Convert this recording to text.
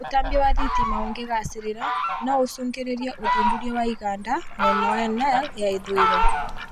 Ūtaambia wa thitima ũngĩgacĩra no ũcũngĩrĩrie ũthundũri wa iganda mwena wa Nile ya ithũĩro